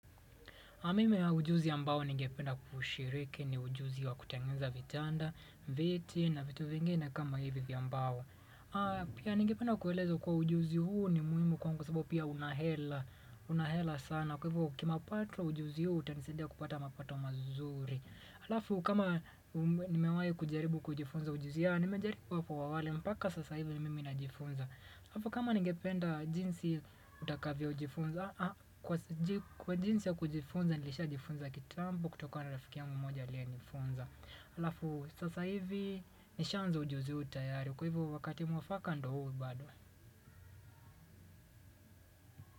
Mimi ujuzi ambao ningependa kushiriki ni ujuzi wa kutengeneza vitanda, viti na vitu vingine kama hivi vya ambao. Pia ningependa kueleza kuwa ujuzi huu ni muhimu kwangu kwa sababu pia unahela sana. Kwa hivo kima pato ujuzi huo utanisidia kupata mapato mazuri. Alafu kama nimewayi kujaribu kujifunza ujuzi ya nimejaribu hapo awali mpaka sasa hivi ni mimi najifunza. Alafu kama ningependa jinsi utakavyo jifunza Kwa jinsi ya kujifunza nilisha jifunza kitambo kutokana rafiki yangu moja aliye nifunza Alafu sasa hivi nishaanza ujuzi huu tayari kwa hivo wakati mwafaka ndo huu bado.